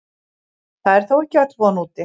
Það er þó ekki öll von úti.